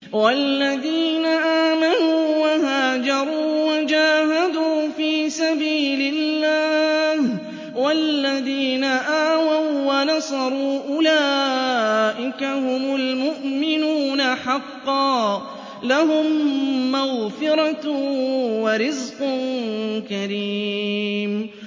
وَالَّذِينَ آمَنُوا وَهَاجَرُوا وَجَاهَدُوا فِي سَبِيلِ اللَّهِ وَالَّذِينَ آوَوا وَّنَصَرُوا أُولَٰئِكَ هُمُ الْمُؤْمِنُونَ حَقًّا ۚ لَّهُم مَّغْفِرَةٌ وَرِزْقٌ كَرِيمٌ